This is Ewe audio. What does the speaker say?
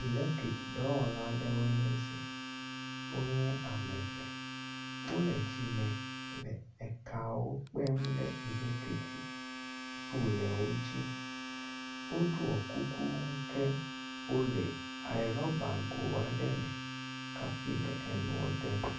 Elektrik dɔwɔla aɖewoe nye si. Wo nye ame eve wo le dzime le ekawo kpem ɖe elektrik poliawo dzi. woɖɔ kuku ke wo le eɖɔbago aɖe me hafi le enua dem.